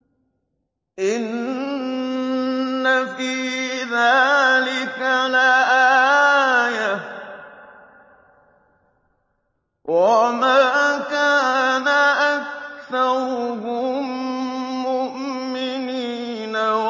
إِنَّ فِي ذَٰلِكَ لَآيَةً ۖ وَمَا كَانَ أَكْثَرُهُم مُّؤْمِنِينَ